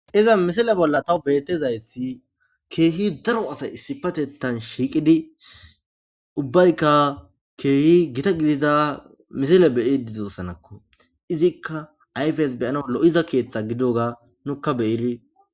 Iza misile bolla taw betizayssi keehi daro asay issipatettan shiiqidi ubbaykka keehi gita gidida misile beyi dizossanakko izikka ayfes beyana lo7iza keeththa gidoga nukka beyiri.